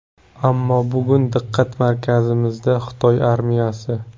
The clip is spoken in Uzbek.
Ammo bugun diqqat markazimizda Xitoy armiyasi.